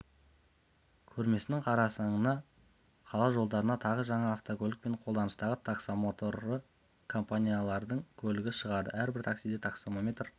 көрмесінің қарсаңында қала жолдарына тағы жаңа автокөлік пен қолданыстағы таксомоторлы компаниялардың көлігі шығады әрбір таксиде таксометрлер